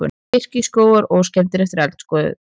Birkiskógar óskemmdir eftir eldgosið